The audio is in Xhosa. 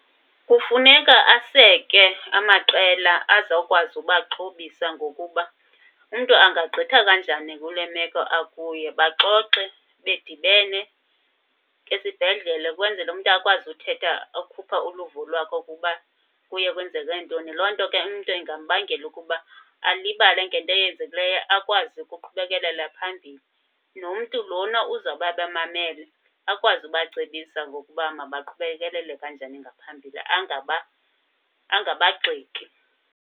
Kufuneka aseke amaqela azawukwazi ubaxhobisa ngokuba umntu angagqitha kanjani kule meko akuyo. Baxoxe bedibene esibhedlele kwenzele umntu akwazi uthetha akhuphe uluvo lwakhe ukuba kuye kwenzeke ntoni. Loo nto ke umntu ingambangela ukuba alibale ngento eyenzekileyo, akwazi ukuqhubekelela phambili. Nomntu lona uzawube abamamele akwazi ubacebisa ngokuba mabaqhubekelele njani ngaphambili, angabagxeki.